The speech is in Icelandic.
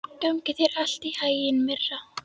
Gangi þér allt í haginn, Myrra.